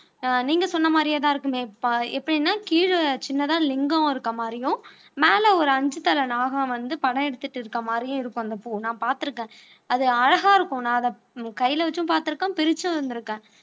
ஆஹ் நீங்க சொன்ன மாதிரியேதான் இருக்கும் எப்படின்னா கீழே சின்னதா லிங்கம் இருக்கிற மாதிரியும் மேல ஒரு அஞ்சு தலை நாகம் வந்து படம் எடுத்துட்டு இருக்கிற மாதிரியும் இருக்கும் அந்த பூ நான் பார்த்திருக்கேன் அது அழகா இருக்கும் நான் அதை கையில வச்சும் பார்த்திருக்கேன் பிரிச்சும் இருந்திருக்கேன்